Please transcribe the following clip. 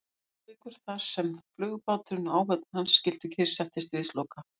Reykjavíkur, þar sem flugbáturinn og áhöfn hans skyldu kyrrsett til stríðsloka.